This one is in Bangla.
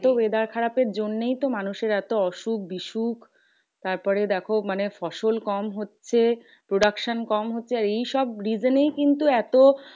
এত weather খারাপের জন্যেই তো মানুষের এত অসুখ বিসুক। তারপরে দেখো মানে ফসল কম হচ্ছে। production কম হচ্ছে। এইসব reason এই কিন্তু এত